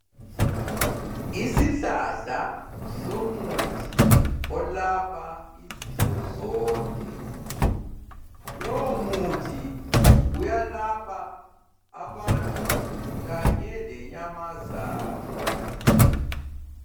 Isihlahla somuthi olapha izifo zonke. Lowo muthi uyalapha abantu kanye lenyamazana.